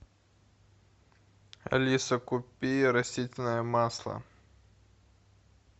алиса купи растительное масло